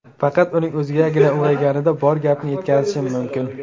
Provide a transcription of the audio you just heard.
Faqat uning o‘zigagina ulg‘ayganida bor gapni yetkazishim mumkin.